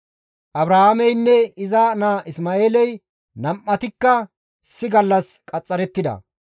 Abrahaameynne iza naa Isma7eeley nam7atikka issi gallas qaxxarettida.